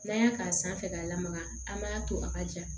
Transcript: N'an y'a k'a sanfɛ k'a lamaga an b'a to a ka ja